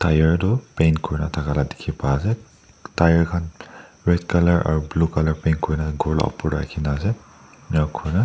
tyre tu paint kurathaka dikhi paiase tyre khan red colour aro blue colour paint kurina ghor la opor tae rakhina ase enika kurina.